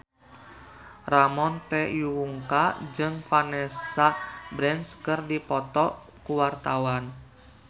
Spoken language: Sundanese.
Ramon T. Yungka jeung Vanessa Branch keur dipoto ku wartawan